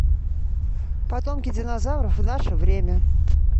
потомки динозавров в наше время